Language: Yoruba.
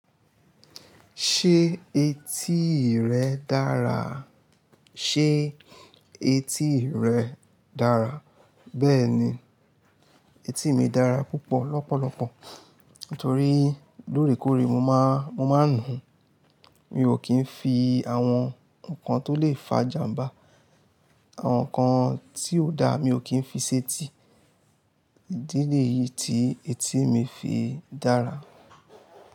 Ṣé etí rẹ dára? Ṣé etí rẹ dára? Bẹ́ẹ̀ni, etí mi dára púpọ̀ lọ́pọ̀lọpọ̀. Nítorí lóòrèkóòrè mo má, mo máa ń nùú, mi ò kì í fi àwọn nǹkan tó lè fa ìjàmbá, àwọn nǹkan tí ò da mi ò kì í fi ṣẹi etí. Ìdí léyìí tí etí mi fi dára.